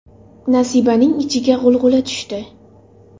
Nasibaning ichiga g‘ulg‘ula tushdi.